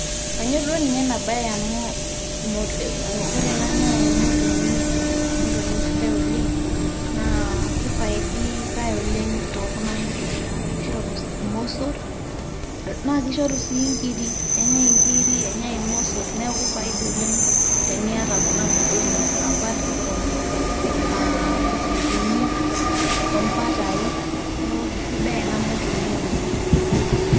Kanyorr duo ninye ena bae amu ore ena naa emotonyi , emotonyi sidai oleng naa kifaidikae oleng too kuna motonyi amu kishoru irmosor naa kishoru sii nkiri. kenyae inkiri , kenyae irmosor ,neaku faida oleng teniata kuna motonyik apart from lukunguni , ombatai ,niaku kisidai ena motonyi oleng.